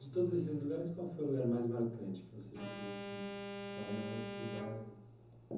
De todos esses lugares, qual foi o lugar mais marcante que você já esteve? Você fala não esse lugar